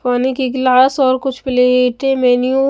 पानी की गिलास और कुछ प्लेट मैन्युअल ---